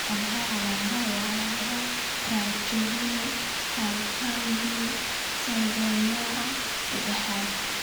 Waa maxay calaamadaha iyo calaamadaha Trichorhinophalangeal syndrome nooca sedaaxaad ?